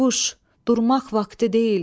Durmaq vaxtı deyil.